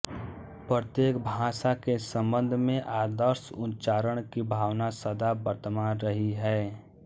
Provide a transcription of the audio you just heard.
प्रत्येक भाषा के संबंध में आदर्श उच्चारण की भावना सदा वर्तमान रही है